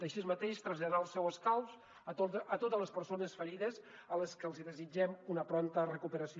així mateix traslladar el seu escalf a totes les persones ferides a les que els desitgem una prompta recuperació